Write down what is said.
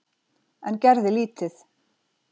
En gerði lítið.